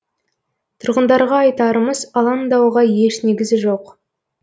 тұрғындарға айтарымыз алаңдауға еш негіз жоқ